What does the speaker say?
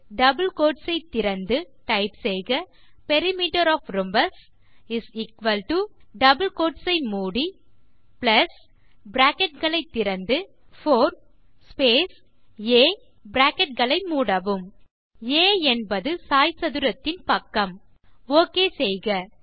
double quotes திறந்து type செய்க perimeter of rhombus double quotes மூடி பிராக்கெட் களை திறந்து 4 ஸ்பேஸ் ஆ பிராக்கெட் களை மூடவும் ஆ என்பது சாய்சதுரத்தின் பக்கம் ஓகே செய்க